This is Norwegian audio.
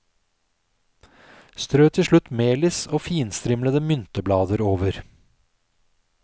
Strø til slutt melis og finstrimlede mynteblader over.